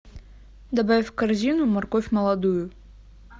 добавь в корзину морковь молодую